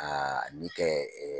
Aa ni kɛ